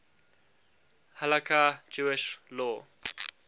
halakha jewish law